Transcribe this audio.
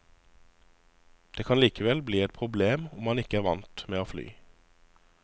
Det kan likevel bli et problem om man ikke er vant med å fly.